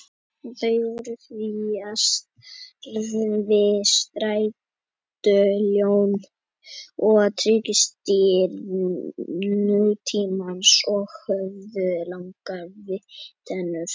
Þau voru því á stærð við stærstu ljón og tígrisdýr nútímans og höfðu langar vígtennur.